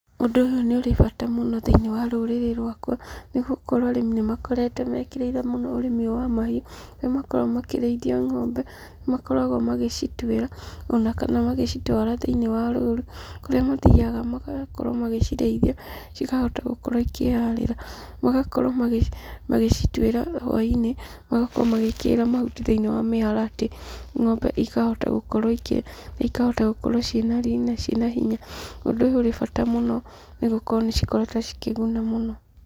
Ũndũ ũyũ nĩ ũrĩ bata mũno thĩinĩ wa rũrĩrĩ rwakwa, nĩ gũkorwo arĩmi nĩ makoretwo mekĩrĩire mũno ũrĩmi ũyũ wa mahiũ, harĩa makoragwo makĩrĩithia ng'ombe, nĩ makoragwo magĩcituĩra, ona kana magĩcitwara thĩinĩ wa rũru, kũrĩa mathiaga magakorwo magĩcirĩithia, cikahota gũkorwo cikĩharĩra. Magakorwo magĩcituĩra hwainĩ na magakorwa magĩĩkĩrĩra mahuti thiĩnĩ wa maĩharatĩ, ng'ombe ikahota gũkorwo ikĩrĩa na ikahota gũkorwo ciĩna riri na ciĩ na hinya, ũndũ ũyũ ũrĩ bata mũno nĩ gũkorwo nĩ cikoretwo cikĩguna mũno.